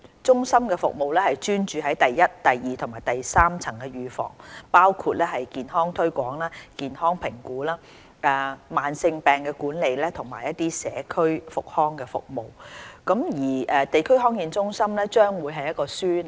中心的服務專注於第一、第二和第三層預防，包括健康推廣、健康評估、慢性病的管理和社區復康服務。地區康健中心將會是一個樞紐。